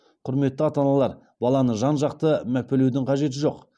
құрметті ата аналар баланы жан жақты мәпелеудің қажеті жоқ